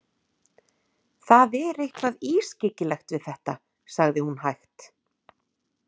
Það er eitthvað ískyggilegt við þetta, sagði hún hægt.